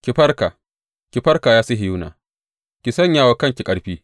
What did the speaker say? Ki farka, ki farka, ya Sihiyona, ki sanya wa kanki ƙarfi.